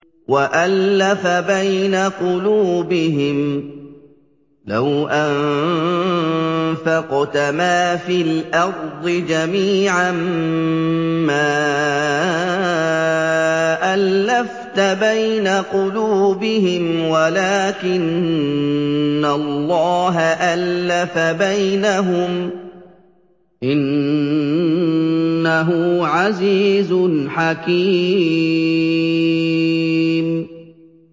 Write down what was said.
وَأَلَّفَ بَيْنَ قُلُوبِهِمْ ۚ لَوْ أَنفَقْتَ مَا فِي الْأَرْضِ جَمِيعًا مَّا أَلَّفْتَ بَيْنَ قُلُوبِهِمْ وَلَٰكِنَّ اللَّهَ أَلَّفَ بَيْنَهُمْ ۚ إِنَّهُ عَزِيزٌ حَكِيمٌ